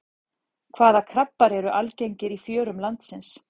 Hvaða krabbar eru algengir í fjörum landsins?